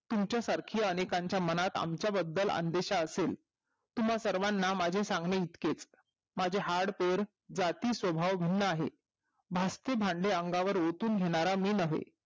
तुमच्या सारखी अनेकाच्या मनात आमच्या बद्दल आदेश असेल तुम्हा सर्वना माझे सांगू इतकेच माझे हाड कोर जाती स्वभाव भिन्न आहे भाजती भाडी अंगावर ओतून घेणारा मी नव्हे